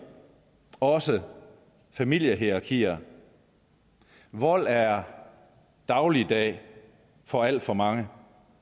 og også i familiehierarkier vold er dagligdag for alt for mange